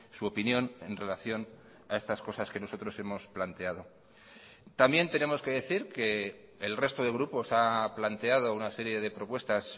su opinión en relación a estas cosas que nosotros hemos planteado también tenemos que decir que el resto de grupos ha planteado una serie de propuestas